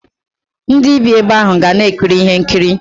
Ndi bii ebe ahu ga na ekiri ihe nkiri.